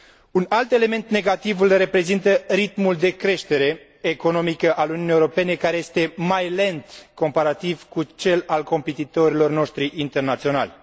Un alt element negativ îl reprezintă ritmul de creștere economică al Uniunii Europene, care este mai lent comparativ cu cel al competitorilor noștri internaționali.